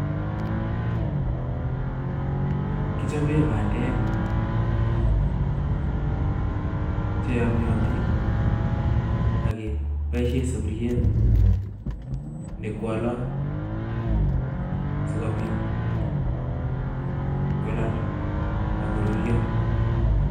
Kichoben bandek cheyomyotin ak keboishen sufuriet nekwalat sikobit kolal ak koruryo